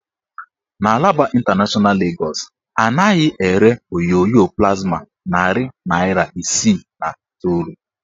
N' Alaba ịntanashọna Legọs, anaghị ere onyonyo plasma narị naịra isii na iteolu.